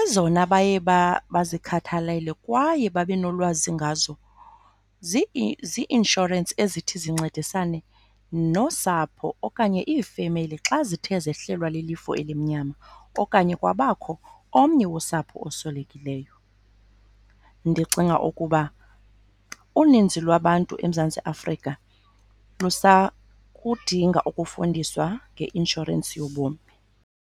Ezona baye bazikhathalele kwaye babe nolwazi ngazo zi-inshorensi ezithi zincedisane nosapho okanye iifemeli xa zithe zehlelwa lilifu elimnyama okanye kwabakho omnye wosapho oswelekileyo. Ndicinga ukuba uninzi lwabantu eMzantsi Afrika lusakudinga ukufundiswa ngeinshorensi yobomi.